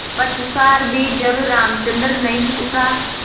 पश्चार भी जब रामचंद्र नहीं उठा